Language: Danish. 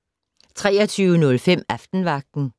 23:05: Aftenvagten